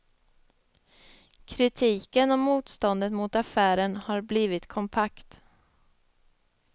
Kritiken och motståndet mot affären har blivit kompakt.